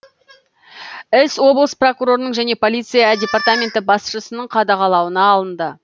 іс облыс прокурорының және полиция департаменті басшысының қадағалауына алынды